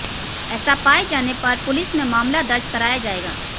ऐसा पाए जाने पर पुलिस में मामला दर्ज कराया जाएगा